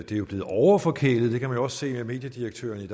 det er blevet overforkælet det kan man jo også se af at mediedirektøren i